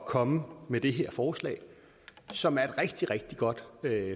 komme med det her forslag som er et rigtig rigtig godt